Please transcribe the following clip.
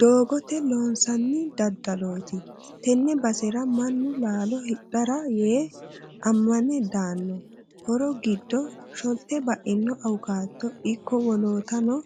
Doogote loonsanni daddaloti tene basera mannu laalo hidhara yee amane daano horo giddo sholte baino awukado ikko woloottano